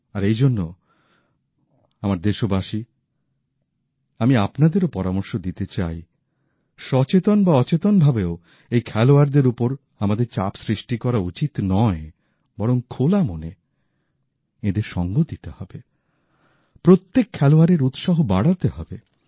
আর এই জন্য আমার দেশবাসী আমি আপনাদেরও পরামর্শ দিতে চাই সচেতন বা অচেতনভাবেও এই খেলোয়াড়দের উপর আমাদের চাপ সৃষ্টি করা উচিত নয় বরং খোলা মনে এঁদের সঙ্গ দিতে হবে প্রত্যেক খেলোয়াড়ের উৎসাহ বাড়াতে হবে